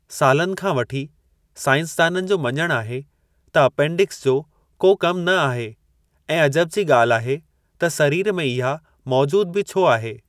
सालनि खां वठी, साइंसदाननि जो मञणु आहे त अपेंडिक्स जो को कमु न आहे, ऐं अजब जी ॻाल्हि आहे त सरीर में इहा मौजूदु बि छो आहे।